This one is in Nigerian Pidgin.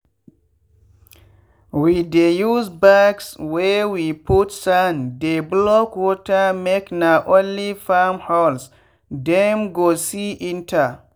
we dey use bags wey we put sand dey block watermake na only farm holes dem go see enter.